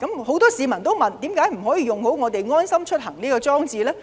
很多市民提出，為何不善用"安心出行"這個應用程式呢？